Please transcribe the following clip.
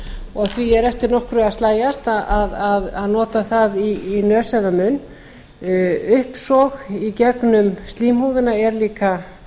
og því er eftir nokkru að slægjast að nota það í nös eða munn uppsog í gegnum slímhúðina er líka